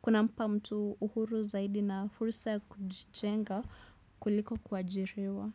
Kunampa mtu uhuru zaidi na furusa ya kujenga kuliko kuajiriwa.